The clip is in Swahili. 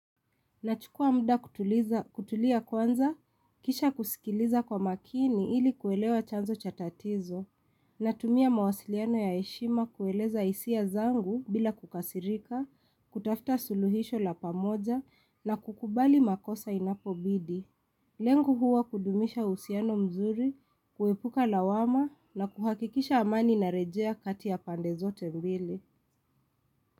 Nachukua muda kutulia kwanza, kisha kusikiliza kwa makini ili kuelewa chanzo cha tatizo, natumia mawasiliano ya heshima kueleza hisia zangu bila kukasirika, kutafuta suluhisho la pamoja na kukubali makosa inapobidi. Lengo huwa kudumisha uhusiano mzuri, kuepuka lawama na kuhakikisha amani inarejea kati ya pande zote mbili.